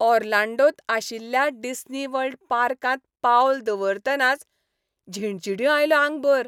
ऑर्लांडोंत आशिल्ल्या डिस्नीवर्ल्ड पार्कांत पावल दवरतनाच झिणझिण्यो आयल्यो आंगभऱ!